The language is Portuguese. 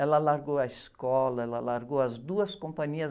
Ela largou a escola, ela largou as duas companhias.